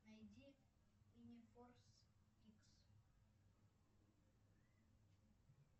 найди юнифорс икс